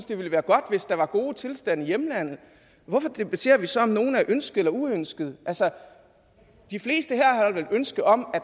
det ville være godt hvis der var gode tilstande i hjemlandet hvorfor debatterer vi så om nogle er ønskede eller uønskede altså de fleste her ønske om at